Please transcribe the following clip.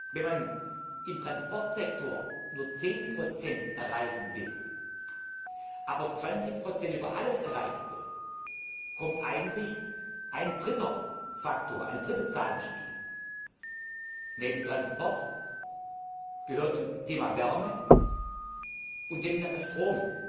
Wenn man im Transportsektor nur 10 erreichen will, aber 20 über alles erreichen soll, kommt eigentlich ein dritter Faktor, eine dritte Zahl ins Spiel. Neben Transport gehört dem Thema Wärme und dem Thema Strom